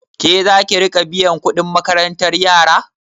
Ke zaki riƙa biyan kuɗin makarantar yara?